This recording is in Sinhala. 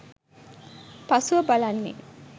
පසුව බලන්නේ